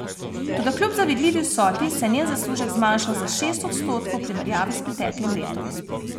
Toda kljub zavidljivi vsoti, se je njen zaslužek zmanjšal za šest odstotkov v primerjavi s preteklim letom.